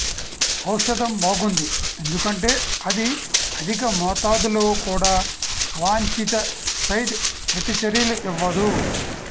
ఔషధం బాగుంది ఎందుకంటే అది అధిక మోతాదులో కూడా అవాంఛిత సైడ్ ప్రతిచర్యలు ఇవ్వదు